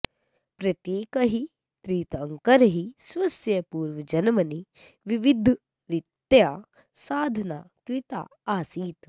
प्रत्येकैः तीर्थङ्करैः स्वस्य पूर्वजन्मनि विविधरीत्या साधना कृता आसीत्